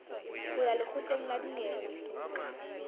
ho ya lekgotleng la dinyewe